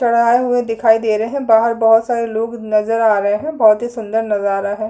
चढ़ाये हुए दिखाई दे रहे है । बाहर बहुत सारे लोग नजर आ रहे है। बहुत ही सुंदर नजारा है। --